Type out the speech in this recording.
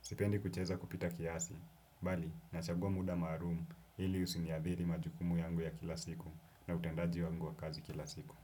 Sipendi kucheza kupita kiasi, bali nachagua muda maalumu ili husiniathiri majukumu yangu ya kila siku na utendaji wangu wa kazi kila siku.